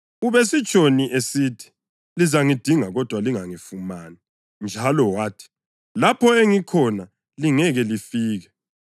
Ubesitshoni esithi, ‘Lizangidinga, kodwa lingangifumani,’ njalo wathi, ‘Lapho engikhona lingeke lifike’?”